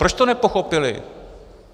Proč to nepochopili?